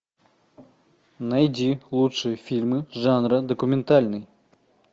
найди лучшие фильмы жанра документальный